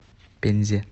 пензе